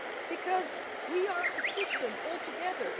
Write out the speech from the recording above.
Because we are a system all together.